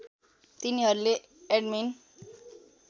तिनीहरूले एडमिन